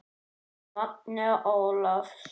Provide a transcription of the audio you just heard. Magnea Ólafs.